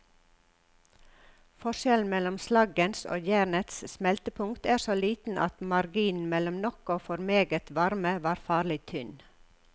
Forskjellen mellom slaggens og jernets smeltepunkt er så liten at marginen mellom nok og for meget varme var farlig tynn.